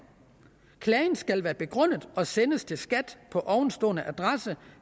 klagen skal være begrundet og sendes til skat på ovenstående adresse